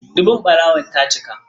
Dubun ɓarawon ta cika.